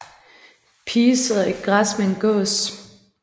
Pige sidder i græs med en gås